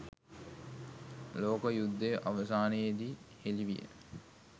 ලොක යුද්දය අවසානයෙදි හෙලි විය.